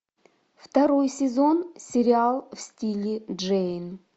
второй сезон сериал в стиле джейн